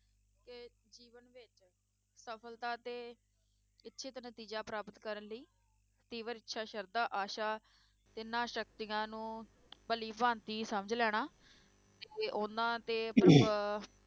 ਸਫਲਤਾ ਅਤੇ ਇੱਛਿਤ ਨਤੀਜਾ ਪ੍ਰਾਪਤ ਕਰਨ ਲਈ ਤੀਬਰ ਇੱਛਾ, ਸ਼ਰਧਾ, ਆਸ਼ਾ ਇਨ੍ਹਾਂ ਸ਼ਕਤੀਆਂ ਨੂੰ ਭਲੀਭਾਂਤੀ ਸਮਝ ਲੈਣਾ ਅਤੇ ਉਹਨਾਂ ਤੇ ਪ੍ਰਭੁ~